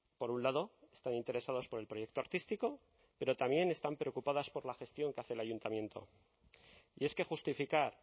por un lado están interesados por el proyecto artístico pero también están preocupadas por la gestión que hace el ayuntamiento y es que justificar